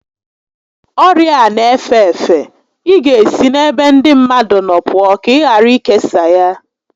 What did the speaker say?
Ọrịa a n'efe efe, ị ga esi n'ebe ndị mmadụ nọ pụọ ka ị ghara ikesa ya